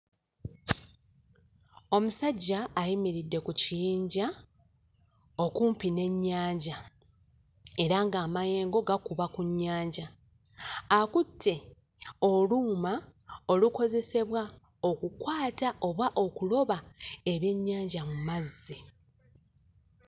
Omusajja ayimiridde ku kiyinja okumpi n'ennyanja era ng'amayengo gakuba ku nnyanja akutte oluuma olukozesebwa okukwata oba okuloba ebyennyanja mu mazzi.